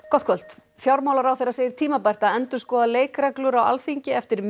gott kvöld fjármálaráðherra segir tímabært að endurskoða leikreglur á Alþingi eftir